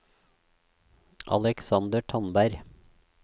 Aleksander Tandberg